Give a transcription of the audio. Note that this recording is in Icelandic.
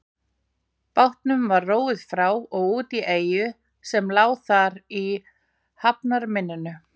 Bátnum var róið frá og út í eyju sem lá þar í hafnarmynninu.